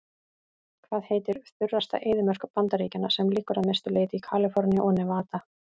Hvað heitir þurrasta eyðimörk Bandaríkjanna sem liggur að mestu leyti í Kaliforníu og Nevada?